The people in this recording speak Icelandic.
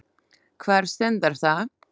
Hvar stendur það?